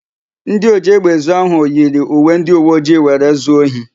Ndị ojiégbè ezu áhụ̀ yiri uwe ndịuweojii were zuo ohi.